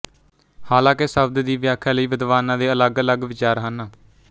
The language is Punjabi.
ਹਾਲਾਂਕਿ ਸ਼ਬਦ ਦੀ ਵਿਆਖਿਆ ਲਈ ਵਿਦਵਾਨਾਂ ਦੇ ਅਲੱਗਅਲੱਗ ਵਿਚਾਰ ਹਨ